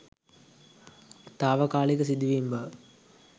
තාවකාලික සිදුවීම් බව